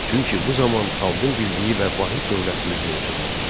Çünki bu zaman xalqın birliyi və vahid dövlətimiz mövcud idi.